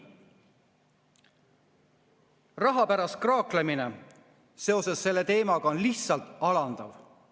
Raha pärast kraaklemine seoses selle teemaga on lihtsalt alandav.